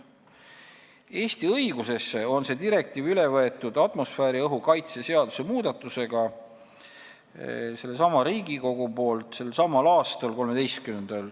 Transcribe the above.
Eesti õigusesse on selle direktiivi üle võtnud seesama Riigikogu atmosfääriõhu kaitse seaduse muudatusega 13. juunil selsamal aastal.